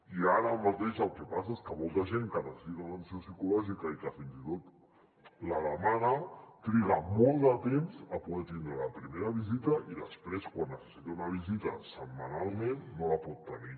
i ara mateix el que passa és que molta gent que necessita atenció psicològica i que fins i tot la demana triga molt de temps a poder tindre la primera visita i després quan necessita una visita setmanalment no la pot tenir